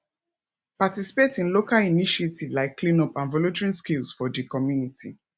participate in local initiative like cleanup and volunteering skills for di community